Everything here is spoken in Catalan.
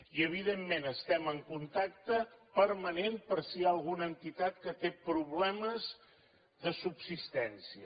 i evidentment estem en contacte permanent per si hi ha alguna entitat que té problemes de subsistència